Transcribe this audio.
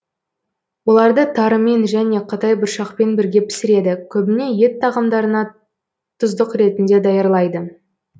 оларды тарымен және қытайбұршақпен бірге пісіреді көбіне ет тағамдарына тұздық ретінде даярлайды